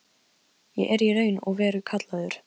Ég er í raun og veru kallaður.